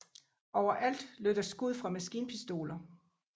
Overalt lød der skud fra maskinpistoler